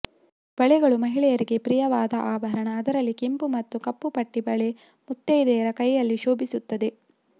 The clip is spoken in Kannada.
ಬಳೆಗಳು ಮಹಿಳೆಯರಿಗೆ ಪ್ರಿಯವಾದ ಆಭರಣ ಅದರಲ್ಲಿ ಕೆಂಪು ಮತ್ತು ಕಪ್ಪು ಪಟ್ಟಿ ಬಳೆ ಮುತ್ತೈದೆಯರ ಕೈಯಲ್ಲಿ ಶೋಭಿಸುತ್ತದೆ